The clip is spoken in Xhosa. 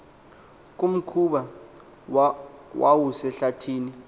kumkhoba owawusehlathi ni